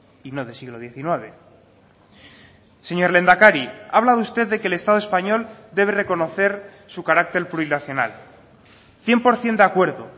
y no de siglo diecinueve señor lehendakari ha hablado usted de que el estado español debe reconocer su carácter plurinacional cien por ciento de acuerdo